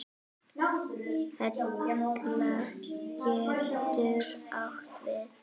Hella getur átt við